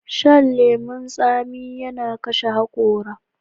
Shan lemun tsami yana kashe hakora.